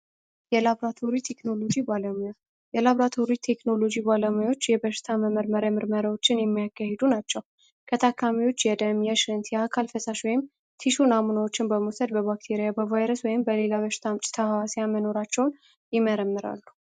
የላትም ቴክኖሎጂ ባለሙያው የላብራቶሪ ቴክኖሎጂ ባለሙያዎች የበሽታ መመርመርያ ምርመራዎችን የሚያካሂዱ ናቸው ከታካሚዎች የደም የሽንት የአካል ፈሳሽ ወይም ቲሹ አምኖችን በመውሰድ በባክያ በቫይረስ ወይም በሌላ በሽታ መኖራቸውን ይመረምራሉ